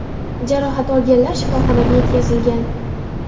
Jarohat olganlar shifoxonaga yetkazilgan.